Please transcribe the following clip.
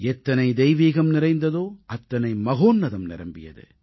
எத்தனை தெய்வீகம் நிறைந்ததோ அத்தனை மகோன்னதம் நிரம்பியது